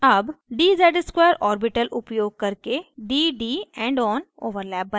अब dz ^ 2 orbital उपयोग करके dd endon overlap बनायें